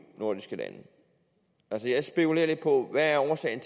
nordiske lande altså jeg spekulerer lidt på hvad årsagen